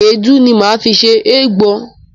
Èédú ni máa fi se ègbo.